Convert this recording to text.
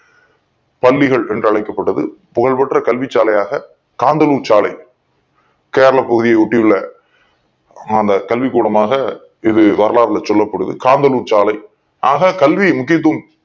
பள்ளிகள் என்று அழைக்கப் பட்டது புகழ்பெற்ற கல்வி சாலையாக காந்தனூர் சாலை கேரளா பகுதியை ஒட்டி உள்ள அந்த கல்வி கூடமாக இது வரலாறுல சொல்லப் படுது காந்தனூர் சாலை ஆக கல்வி முக்கியத் துவம்